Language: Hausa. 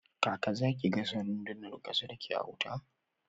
Kaka zaki gasa randunan kasar ki a wuta?